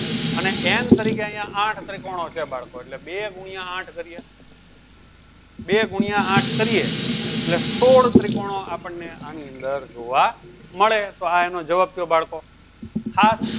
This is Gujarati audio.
અને n તરીકે અહ્યા આઠ ત્રિકોણો છે બાળકો એટલે બે ગુનિયા આઠ કરીએ. બે ગુનિયા આઠ કરીએ એટલે સોળ ત્રિકોણ આપણને આની અંદર જોવા મળે તો એનો જવાબ થયો બાળકો હાથ